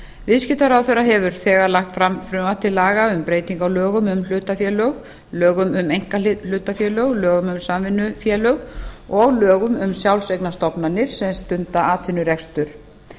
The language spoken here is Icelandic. viðskiptaráðherra hefur haft fram frumvarp til laga um breytingu á lögum um hlutafélög lögum um einkahlutafélög lögum um samvinnufélög og lögum um sjálfseignarstofnanir sem stunda atvinnurekstur